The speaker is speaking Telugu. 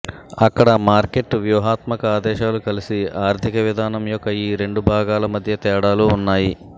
అక్కడ మార్కెట్ వ్యూహాత్మక ఆదేశాలు కలిసి ఆర్థిక విధానం యొక్క ఈ రెండు భాగాల మధ్య తేడాలు ఉన్నాయి